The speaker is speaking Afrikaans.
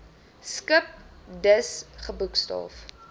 skip dus geboekstaaf